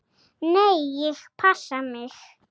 Nei, ég passa mig.